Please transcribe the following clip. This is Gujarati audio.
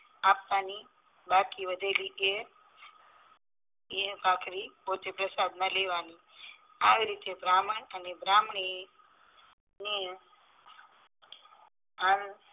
આપવાની બાકી વધેલી એ એ ભાખરી પોતે પ્રશાદ લાઇવાની આવી રીતે બ્રાહ્મણ અને બ્રાહ્મણી ને આનું